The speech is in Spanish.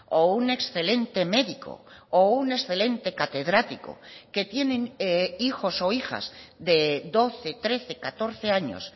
o un excelente médico o un excelente catedrático que tienen hijos o hijas de doce trece catorce años